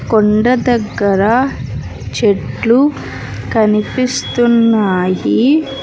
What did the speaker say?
కొండ దగ్గర చెట్లు కనిపిస్తున్నాయి.